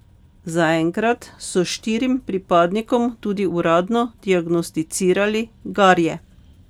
Zaenkrat so štirim pripadnikom tudi uradno diagnosticirali garje.